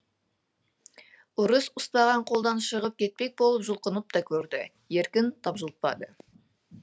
ұры ұстаған қолдан шығып кетпек болып жұлқынып та көрді еркін тапжылтпады